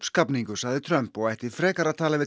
sagði Trump og ætti frekar að tala við